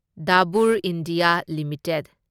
Dabur India limited